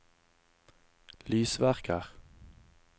lysverker